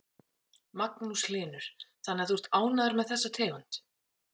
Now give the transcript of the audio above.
Magnús Hlynur: Þannig að þú ert ánægður með þessa tegund?